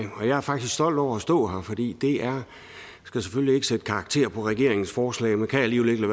jeg er faktisk stolt over at stå her fordi det er jeg skal selvfølgelig ikke sætte karakter på regeringens forslag men kan alligevel ikke